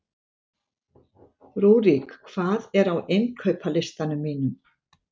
Rúrik, hvað er á innkaupalistanum mínum?